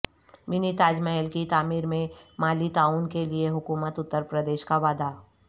منی تاج محل کی تعمیر میں مالی تعاون کے لیے حکومت اترپردیش کا وعدہ